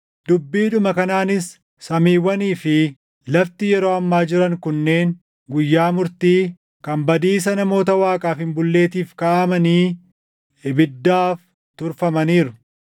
Dubbiidhuma kanaanis samiiwwanii fi lafti yeroo ammaa jiran kunneen guyyaa murtii, kan badiisa namoota Waaqaaf hin bulleetiif kaaʼamanii ibiddaaf turfamaniiru.